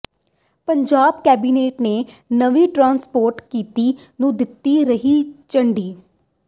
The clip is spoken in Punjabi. ਪੰਜਾਬ ਕੈਬਨਿਟ ਨੇ ਨਵੀਂ ਟਰਾਂਸਪੋਰਟ ਨੀਤੀ ਨੂੰ ਦਿੱਤੀ ਹਰੀ ਝੰਡੀ